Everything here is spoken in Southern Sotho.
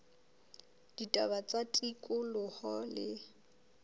la ditaba tsa tikoloho le